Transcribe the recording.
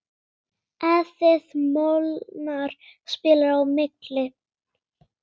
Edith Molnar spilar á milli.